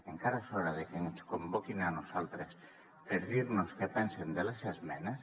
encara és hora de que ens convoquin a nosaltres per dirnos què pensen de les esmenes